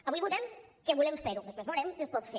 avui votem que volem fer ho després veurem si es pot fer